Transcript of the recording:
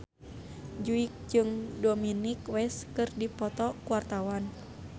Jui jeung Dominic West keur dipoto ku wartawan